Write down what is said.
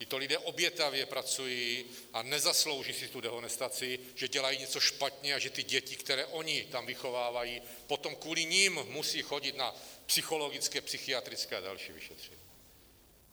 Tito lidé obětavě pracují a nezaslouží si tu dehonestaci, že dělají něco špatně a že ty děti, které oni tam vychovávají, potom kvůli nim musejí chodit na psychologické, psychiatrické a další vyšetření.